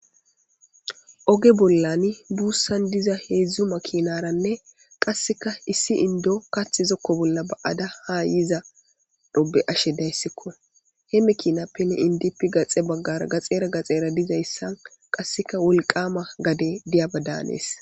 Oge bollan buusandiza heedzu makinataranne qasseka issi inddo kaththi zokko bolla ba'ada haa yizaro be'she daysiko. He makinappenne indippe gaxe baggara gaxera gaxera dizaysa qasseka wolqama gade diyabada hanees.